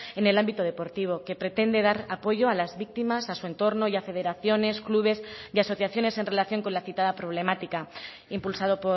en el ámbito deportivo que pretende dar apoyo a las víctimas a su entorno y a federaciones clubes y asociaciones en relación con la citada problemática impulsado